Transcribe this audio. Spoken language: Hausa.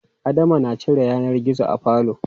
Adama na cire yanar gizo a falo.